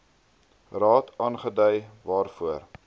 raad aangedui waarvoor